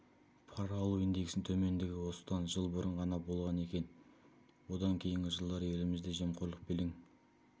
пара алу индексінің төмендігі осыдан жыл бұрын ғана болған екен одан кейінгі жылдары елімізде жемқорлық белең